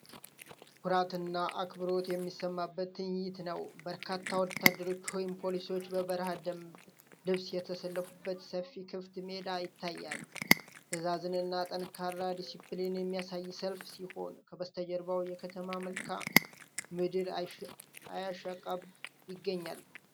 ኩራትና አክብሮት የሚሰማበት ትዕይንት ነው! በርካታ ወታደሮች ወይም ፖሊሶች በበረሃ ደንብ ልብስ የተሰለፉበት ሰፊ ክፍት ሜዳ ይታያል። ትዕዛዝንና ጠንካራ ዲሲፕሊንን የሚያሳይ ሰልፍ ሲሆን፣ ከበስተጀርባው የከተማ መልክዓ ምድር እያሻቀበ ይገኛል።